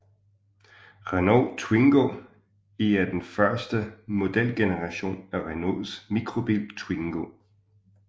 Renault Twingo I er den første modelgeneration af Renaults mikrobil Twingo